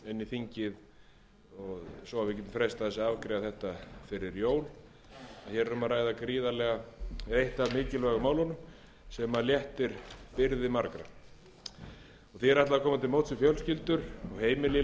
þingið svo við getum freistað þess að afgreiða það fyrir jól hér er um að ræða eitt af mikilvægu málunum sem léttir byrði margra því er ætlað er að koma til móts við fjölskyldur og heimili í